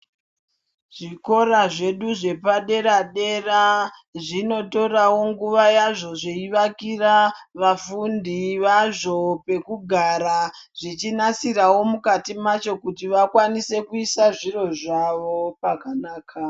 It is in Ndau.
Zvikora zvedu zvepadera dera zvinotorawo nguwa yazvo zveivakira vafundi vazvo pekugara zvichinasirawo Mukati macho kuti vakwanise kuisa zviro zvavo pakanaka.